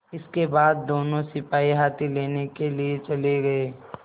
इसके बाद दोनों सिपाही हाथी लेने के लिए चले गए